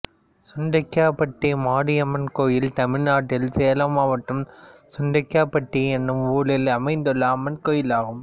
சுண்டக்காப்பட்டி மாரியம்மன் கோயில் தமிழ்நாட்டில் சேலம் மாவட்டம் சுண்டக்காப்பட்டி என்னும் ஊரில் அமைந்துள்ள அம்மன் கோயிலாகும்